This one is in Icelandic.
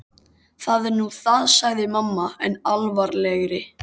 Það er nú það sagði mamma enn alvarlegri.